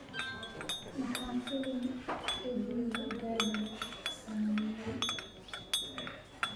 maxaa filim edie gathie sameeyay